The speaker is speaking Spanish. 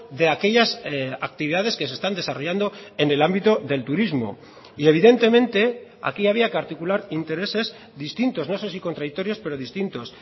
de aquellas actividades que se están desarrollando en el ámbito del turismo y evidentemente aquí había que articular intereses distintos no sé si contradictorios pero distintos